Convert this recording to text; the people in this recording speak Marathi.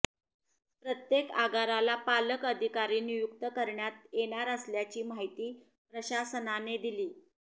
प्रत्येक आगाराला पालक अधिकारी नियुक्त करण्यात येणार असल्याची माहिती प्रशासनाने दिली